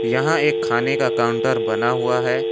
यहां एक खाने का काउंटर बना हुआ है।